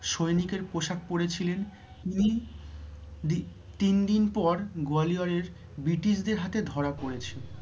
সৈনিকের পোশাক পড়েছিলেন তিনি দি~ তিন দিন পর গয়ালিওরের British দের হাতে ধরা পরেছেন।